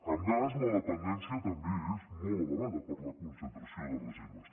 en gas la dependència també és molt elevada per la concentració de reserves